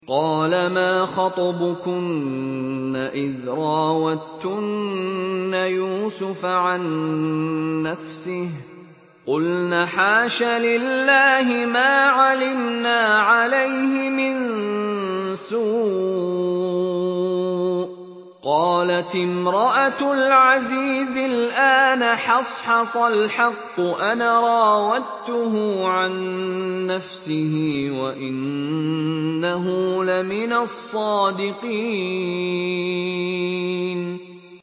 قَالَ مَا خَطْبُكُنَّ إِذْ رَاوَدتُّنَّ يُوسُفَ عَن نَّفْسِهِ ۚ قُلْنَ حَاشَ لِلَّهِ مَا عَلِمْنَا عَلَيْهِ مِن سُوءٍ ۚ قَالَتِ امْرَأَتُ الْعَزِيزِ الْآنَ حَصْحَصَ الْحَقُّ أَنَا رَاوَدتُّهُ عَن نَّفْسِهِ وَإِنَّهُ لَمِنَ الصَّادِقِينَ